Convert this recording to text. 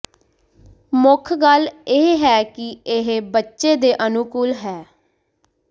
ਮੁੱਖ ਗੱਲ ਇਹ ਹੈ ਕਿ ਇਹ ਬੱਚੇ ਦੇ ਅਨੁਕੂਲ ਹੈ